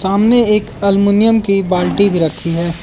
सामने एक एलमुनियम की बाल्टी भी रखी है।